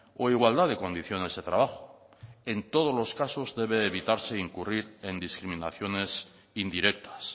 o igualdad de condiciones de trabajo en todos los casos debe de evitarse incurrir en discriminaciones indirectas